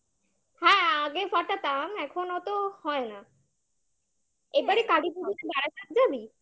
হ্যাঁ আগে ফাটাতাম, এখন ওতো হয় না এবারে কালী পুজোতে বারাসাত কি যাবি?